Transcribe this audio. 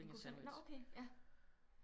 Når okay ja